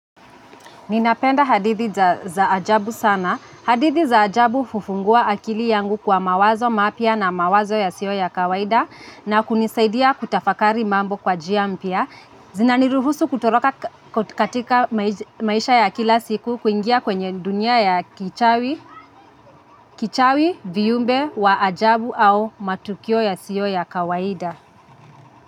Ninapenda hadithi za ajabu sana. Hadithi za ajabu hufungua akili yangu kwa mawazo mapya na mawazo yasiyo ya kawaida na kunisaidia kutafakari mambo kwa njia mpya. Zinaniruhusu kutoroka katika maisha ya kila siku kuingia kwenye dunia ya kichawi, viumbe wa ajabu au matukio yasiyo ya kawaida.